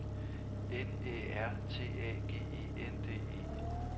N Æ R T A G E N D E